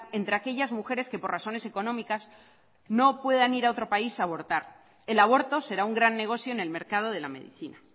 entre aquellas mujeres que por razones económicas no puedan ir a otro país a abortar el aborto será un gran negocio en el mercado de la medicina